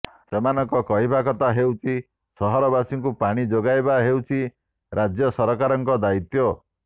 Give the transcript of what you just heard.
ସେମାନଙ୍କ କହିବା କଥା ହେଉଛି ସହରବାସୀଙ୍କୁ ପାଣି ଯୋଗାଇବା ହେଉଛି ରାଜ୍ୟ ସରକାରଙ୍କ ଦାୟିତ୍ୱ